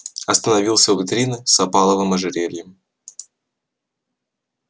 остановился у витрины с опаловым ожерельем